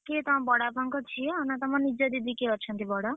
କିଏ ତମ ବଡ ବାପା ଙ୍କ ଝିଅ ନା ତମ ନିଜ ଦିଦି କିଏ ଅଛନ୍ତି ବଡ?